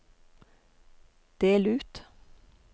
del ut